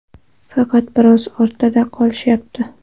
Faqat biroz ortda qolishyapti.